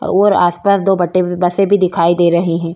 और आसपास दो बट्टे बसें भी दिखाई दे रही हैं।